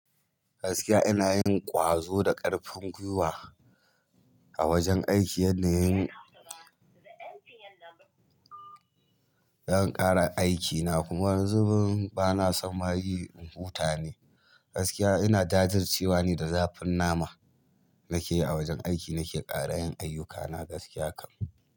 Gaskiya ina yin ƙwazo da ƙarfin gwiwa a wajen aiki, yanda yayi yan ƙara aikina kuma wani zubin bana son ma yi in huta ne. Gaskiya ina jajircewa ne da zafin nama nake yi a wajen aiki nake ƙara yin ayyukana gaskiya kam.